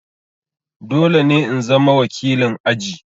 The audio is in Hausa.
Dole ne in zama wakilin aji!